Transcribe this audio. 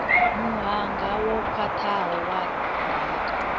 muhanga wo khwathaho wa ndaka